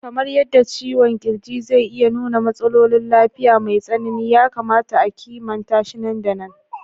Kamar yadda ciwon ƙirji zai iya nuna matsalolin lafiya mai tsanani, ya kamata a kimanta shi nan da nan.